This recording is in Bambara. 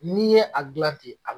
N'i ye a dilan ten a